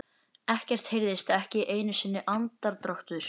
Ekkert heyrðist, ekki einu sinni andardráttur.